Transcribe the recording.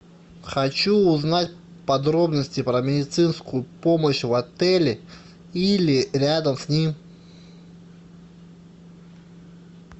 хочу узнать подробности про медицинскую помощь в отеле или рядом с ним